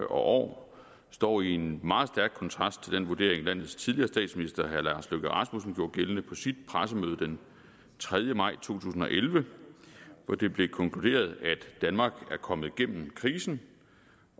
år står i en meget stærk kontrast til den vurdering som landets tidligere statsminister herre lars løkke rasmussen gjorde gældende på sit pressemøde den tredje maj to tusind og elleve hvor det blev konkluderet at danmark var kommet igennem krisen